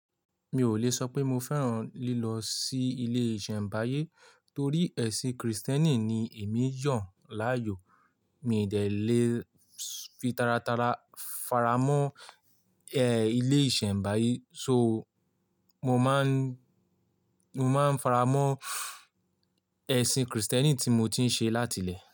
Mi ò lè sọ pé mo fẹ́ràn lílọ sí ilé ìṣẹ̀mbáyé torí ẹ̀sìn Krìstẹ́nì ni èmi yàn láàyò. Mi i dẹ́lẹ̀ fi taratara faramọ́, ilé ìṣẹ̀mbáyé. So mo máa ń, mo máa ń faramọ́ esìn Krìstẹ́nì tí mo ti ń ṣe látilẹ̀